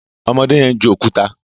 ọmọdé yen ń ju òkúta